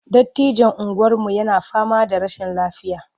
Dattijon unguwarmu yana fama da rashin lafiya.